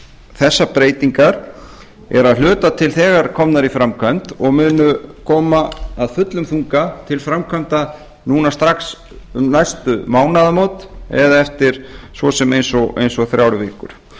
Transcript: breytingar eru að hluta til þegar komnar í framkvæmd og munu koma af fullum þunga til framkvæmda núna strax um næstu mánaðamót eða eftir svo sem eins og þrjár vikur ég